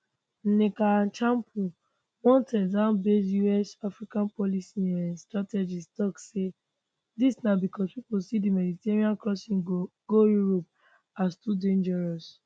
nneka achapu one texasbased usafrica policy um strategist tok say dis na becos pipo see di mediterranean crossing go europe as too dangerous